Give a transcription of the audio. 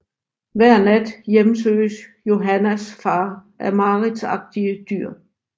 Hver nat hjemsøges Johannas far af mareridtsagtige dyr